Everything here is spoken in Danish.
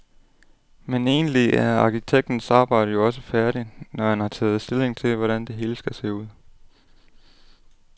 Men egentlig er arkitektens arbejde jo også færdigt, når han har taget stilling til, hvordan det hele skal se ud.